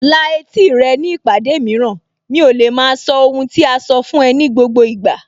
La etí rẹ ní ìpàdé mìíràn, mi ò lè maa sọ ohun tí a sọ fún ẹ ní gbogbo ìgbà